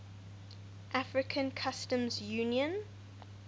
african customs union